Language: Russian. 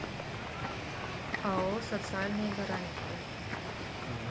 ао социальные гарантии